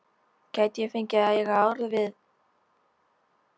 Gæti ég fengið að eiga orð við